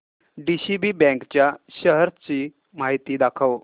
DCB bank च्या shares ची माहिती दाखव